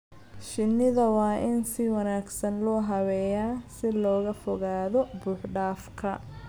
Shinnida waa in si wanaagsan loo habeeyaa si looga fogaado buux-dhaafka.